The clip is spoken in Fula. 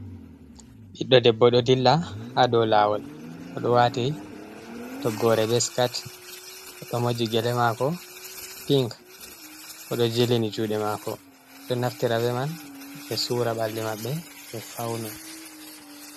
Biɗɗo ɗebbo ɗo ɗilla ha ɗow lawol. Oɗo wati toggore be siket. Oɗo moji gele mako pink oɗo jelini juɗe mako. oɗo naftira be man be sura balɗe mabbe be fauno.